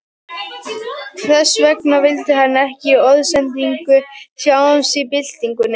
Þess vegna skildi hann eftir orðsendingu, Sjáumst í byltingunni